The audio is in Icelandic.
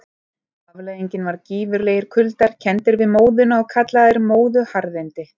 Afleiðingin var gífurlegir kuldar, kenndir við móðuna og kallaðir móðuharðindi.